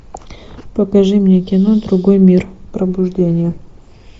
покажи мне кино другой мир пробуждение